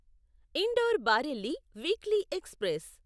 indoor Bareilly weekly express